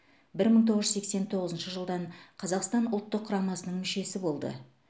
бір мың тоғыз жүз сексен тоғызыншы жылдан қазақстан ұлттық құрамасының мүшесі болды